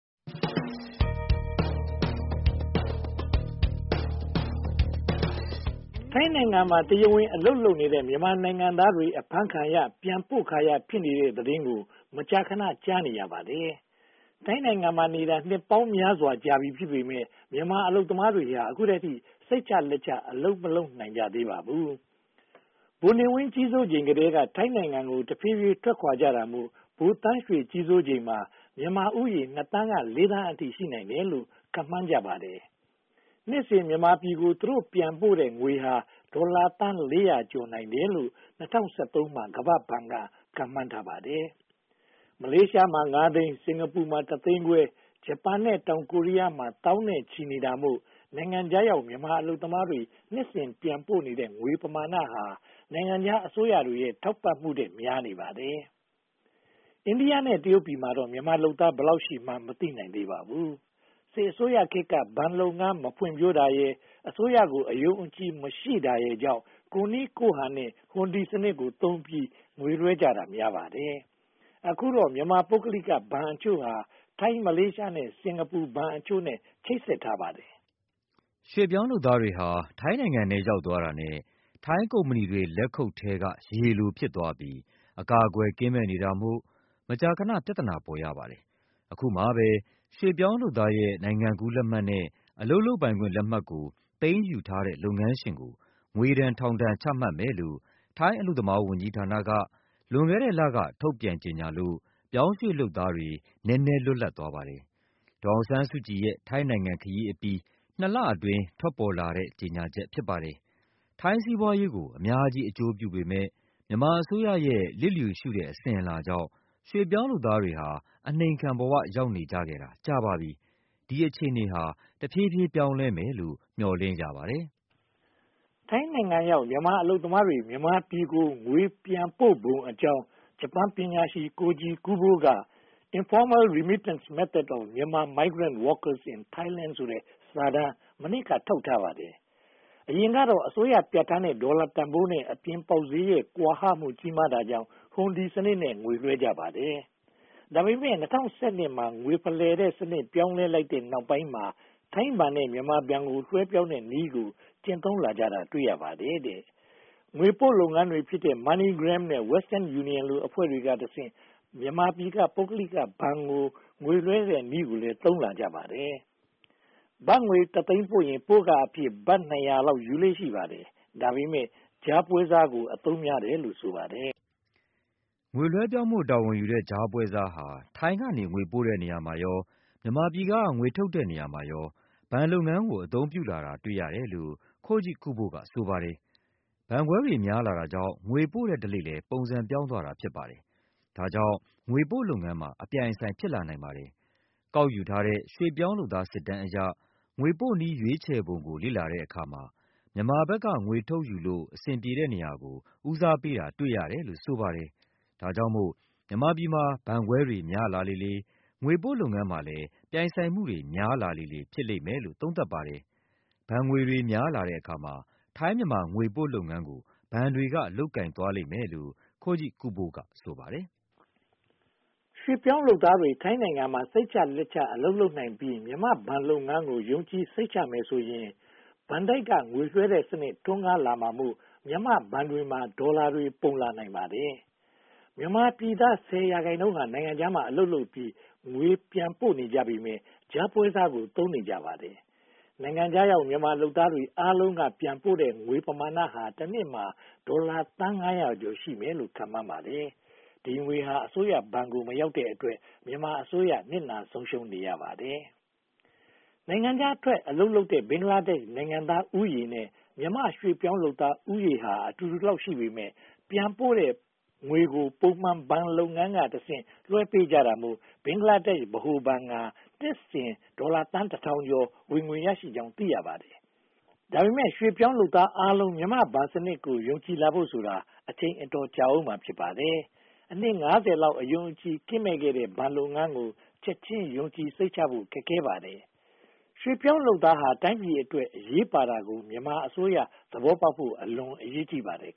ထိုင်းနိုင်ငံမှာ တရားဝင်အလုပ်လုပ်နေတဲ့ မြန်မာနိုင်ငံသားတွေ အဖမ်းခံရ၊ ပြန်ပို့ခံရ ဖြစ်နေတဲ့သတင်းကို မကြာခဏ ကြားနေရပါတယ်။ ထိုင်းမှာနေတာ နှစ်ပေါင်းများစွာကြာပြီ ဖြစ်ပေမယ့် မြန်မာအလုပ်သမားတွေဟာ အခုအချိန်အထိ စိတ်ချလက်ချ အလုပ်မလုပ်နိုင်ကြသေးပါဘူး။ ဗိုလ်နေဝင်း ကြီးစိုးနေချိန်ကတည်းက ထိုင်းနိုင်ငံကို တဖြည်းဖြည်းထွက်ခွါကြတာမို့ ဗိုလ်သန်းရွှေ ကြီးစိုးချိန်မှာ မြန်မာဦးရေ (၂) သန်းကနေ (၄) သန်းအထိ ရှိနိုင်တယ်လို့ ခန့်မှန်းကြပါတယ်။ နှစ်စဉ် မြန်မာပြည်ကို သူတို့ ပြန်ပို့တဲ့ငွေဟာ ဒေါ်လာသန်း (၄၀၀) ကျော် ရှိနိုင်တယ်လို့ ၂၀၁၃ မှာ ကမ္ဘာ့ဘဏ်က ခန့်မှန်းထားပါတယ်။ မလေးရှားမှာ (၅) သိန်း၊ စင်္ကာပူမှာ တစ်သိန်းခွဲ၊ ဂျပန် နဲ့ တောင်ကိုရီးယားမှာ သောင်းနဲ့ချီနေတာမို့ နိုင်ငံခြားရောက် မြန်မာအလုပ်သမားတွေ နှစ်စဉ်ပြန်ပို့နေတဲ့ ငွေပမာဏဟာ နိုင်ငံခြားအစိုးရတွေရဲ့ ထောက်ပံ့မှုထက် များနေပါတယ်။ အိန္ဒိယနဲ့ တရုတ်ပြည်မှာတော့ မြန်မာအလုပ်သမား ဘယ်လောက်ရှိမှန်း မသိနိုင်သေးပါဘူး။ စစ်အစိုးရခေတ်က ဘဏ်လုပ်ငန်း မဖွံ့ဖြိုးတာရယ်၊ အစိုးရကို အယုံအကြည် မရှိတာရယ်ကြောင့် ကိုယ့်နည်းကိုယ့်ဟန်နဲ့ ဟွန်ဒီစနစ် သုံးပြီး ငွေလွှဲတာ များပါတယ်။ အခုတော့ မြန်မာ ပုဂ္ဂလိက ဘဏ်အချို့ဟာ ထိုင်း၊ မလေးရှား၊ စင်္ကာပူဘ ဘဏ်အချို့နဲ့ ချိတ်ဆက်ထားပါတယ်။ ရွှေ့ပြောင်းလုပ်သားတွေဟာ ထိုင်းနိုင်ငံထဲ ရောက်သွားတာနဲ့ ထိုင်းကုမ္ပဏီ လက်ခုပ်ထဲက ရေလိုဖြစ်သွားပြီး အကာအကွယ် ကင်းမဲ့နေတာမို့ မကြာခဏ ပြဿနာ ပေါ်ရပါတယ်။ အခုမှပဲ ရွှေ့ပြောင်းလုပ်သားတွေရဲ့ နိုင်ငံကူးလက်မှတ် နဲ့ အလုပ်လုပ်ပိုင်ခွင့်လက်မှတ်ကို သိမ်းယူထားတဲ့ လုပ်ငန်းရှင်တွေကို ငွေဒဏ်ထောင်ဒဏ် ချမှတ်မယ်လို့ ထိုင်းအလုပ်သမားဝန်ကြီးဌာနက လွန်ခဲ့တဲ့လက ထုတ်ပြန်ကြေညာလို့ ပြောင်းရွှေ့လုပ်သားတွေ နည်းနည်းလွတ်လပ်သွားပါတယ်။ ဒေါ်အောင်ဆန်းစုကြည်ရဲ့ ထိုင်းနိုင်ငံခရီးအပြီး (၂) လအတွင်း ထွက်ပေါ်လာတဲ့ ကြေညာချက် ဖြစ်ပါတယ်။ ထိုင်းစီးပွားရေးကို အများကြီး အကျိုးပြုပေမယ့် မြန်မာအစိုးရရဲ့ လစ်လျူရှုတဲ့ အစဉ်အလာကြောင့် ရွှေ့ပြောင်းလုပ်သားတွေဟာ အနှိမ်ခံဘဝ ရောက်နေခဲ့ကြတာ ကြာပါပြီ။ ဒီအခြေအနေဟာ တဖြည်းဖြည်း ပြောင်းလဲမယ်လို့ မျှော်လင့်ရပါတယ်။ ထိုင်းနိုင်ငံရောက် မြန်မာအလုပ်သမားတွေ မြန်မာပြည်ကို ငွေပြန်ပို့ပုံကြောင်း ဂျပန်ပညာရှင် Koji Kubo က Informal Remittance Methods of Myanmar Migrant Workers in Thailand ဆိုတဲ့ စာတမ်းကို မနှစ်က ထုတ်ဝေထားပါတယ်။ အရင်ကတော့ အစိုးရ ပြဌာန်းထားတဲ့ ဒေါ်လာတန်းဖိုးနဲ့ အပြင်ပေါက်ဈေးရဲ့ ကွာဟမှု ကြီးမာတာကြောင့် ဟွန်ဒီနည်းနဲ့ ငွေလွှဲကြပါတယ်။ ဒါပေမဲ့ ၂၀၁၂ မှာ ငွေဖလှယ်တဲ့ စနစ်ပြောင်းလဲလိုက်တဲ့ နောက်ပိုင်းမှာ ထိုင်းဘဏ်က မြန်မာဘဏ်ကို လွှဲပြောင်းတဲ့နည်းကို ကျင့်သုံးလာတာ တွေ့ရပါတယ်။ ငွေပို့လုပ်ငန်းတွေဖြစ်တဲ့ MoneyGram နဲ့ Western Union လို အဖွဲ့တွေကတဆင့် မြန်မာပြည်က ပုဂ္ဂလိကဘဏ်ကို ငွေလွှဲတဲ့နည်းကိုလည်း သုံးလာကြပါတယ်။ ဘတ်ငွေတသိန်းပို့ရင် ပို့ခအဖြစ် ဘတ် (၂၀၀) လောက် ယူလေ့ရှိပါတယ်။ ဒါပေမဲ့ ကြားပွဲစားကိုပဲ အသုံးများတယ်လို့ ဆိုပါတယ်။ ငွေလွဲပြောင်းဖို့ တာဝန်ယူတဲ့ ကြားပွဲစားဟာ ထိုင်းကနေ ငွေပို့တဲ့နေရာမှာရော မြန်မာပြည်က ငွေထုတ်တဲ့နေရာမှာရော ဘဏ်လုပ်ငန်းကို အသုံးပြုလာတာ တွေ့ရတယ်လို့ Koji Kubo က ဆိုပါတယ်။ ဘဏ်ခွဲတွေ များလာတာကြောင့် ငွေပို့တဲ့ဓလေ့လည်း ပုံစံပြောင်းသွားတာ ဖြစ်ပါတယ်။ ဒါကြောင့် ငွေပို့လုပ်ငန်းမှာ အပြိုင်အဆိုင် ဖြစ်လာနိုင်ပါတယ်။ ကောက်ယူထားတဲ့ ရွှေ့ပြောင်းလုပ်သား စစ်တမ်းအရ ငွေပို့နည်း ရွေးချယ်ပုံကို လေ့လာတဲ့အခါမှာ မြန်မာဘက်က ငွေထုတ်ယူလို့ အဆင်ပြေတဲ့နေရာကို ဦးစားပေးတာ တွေ့ရတယ်လို့ ဆိုပါတယ်။ ဒါကြောင့်မို့ မြန်မာပြည်မှာ ဘဏ်ခွဲတွေများလာတဲ့အခါမှာ ထိုင်း-မြန်မာ ငွေပို့လုပ်ငန်းကို ဘဏ်တွေက လုပ်ကိုင်သွားလိမ့်မယ်လို့ Koji Kubo က ဆိုပါတယ်။ ရွှေ့ပြောင်းလုပ်သားတွေ ထိုင်းနိုင်ငံမှာ စိတ်ချလက်ချ အလုပ်လုပ်နိုင်ပြီး မြန်မာ့ဘဏ်လုပ်ငန်းကို ယုံကြည်စိတ်ချမယ်ဆိုရင် ဘဏ်တိုက်က ငွေလွှဲတဲ့စနစ် ထွန်းကားလာမှာမို့ မြန်မာ့ဘဏ်တွေမှာ ဒေါ်လာငွေတွေ ပုံလာနိုင်ပါတယ်။ မြန်မာပြည်သား (၁၀) ရာခိုင်နှုန်းဟာ နိုင်ငံခြားမှာ အလုပ်လုပ်ပြီး ငွေပြန်ပို့နေကြပေမယ့် ကြားပွဲစားကို သုံးနေကြပါတယ်။ နိုင်ငံခြားရောက် မြန်မာလုပ်သားတွေအားလုံးဟာ ပြန်ပို့တဲ့ ငွေပမာဏဟာ တနှစ်မှာ ဒေါ်လာသန်းငါးရာကျော် ရှိမယ်လို့ ခန့်မှန်းပါတယ်။ ဒီငွေဟာ အစိုးရဘဏ်ကို မရောက်တဲ့အတွက် မြန်မာအစိုးရ နစ်နာဆုံးရှုံးရပါတယ်။ နိုင်ငံခြားထွက် အလုပ်လုပ်တဲ့ ဘင်္ဂလားဒေ့ရှ် နိုင်ငံသားဦးရေနဲ့ မြန်မာရွေ့ပြောင်းလုပ်သားဦးရေဟာ အတူတူလောက်ရှိပေမယ့် ပြန်ပို့ငွေကို ပုံမှန်ဘဏ်လုပ်ငန်းကတဆင့် လွှဲပေးကြတာမို့ ဘင်္ဂလားဒေ့ရှ် ဗဟိုဘဏ်ဟာ နှစ်စဉ်ဒေါ်လာသန်းတထောင်ကျော် ဝင်ငွေရနေကြောင်း သိရပါတယ်။ ဒါပေမဲ့ ရွှေ့ပြောင်းလုပ်သားအားလုံး မြန်မာ့ဘဏ်စနစ်ကို ယုံကြည်လာဖို့ဆိုတော့ အချိန်အတော်ကြာဦးမှာ ဖြစ်ပါတယ်။ အနှစ် (၅၀) လောက် အယုံအကြည်ကင်းမဲ့ခဲ့တဲ့ ဘဏ်လုပ်ငန်းကို ချက်ချင်း ယုံကြည်ဖို့ ခက်ခဲပါတယ်။ ရွှေ့ပြောင်းလုပ်သားဟာ တိုင်းပြည်အတွက် အရေးပါတာကို မြန်မာအစိုးရ သဘောပေါက်ဖို့ အလွန်အရေးကြီးပါတယ်